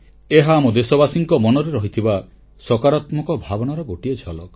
ଏହା ଆମ ଦେଶବାସୀଙ୍କ ମନରେ ରହିଥିବା ସକାରାତ୍ମକ ଭାବନାର ଗୋଟିଏ ଝଲକ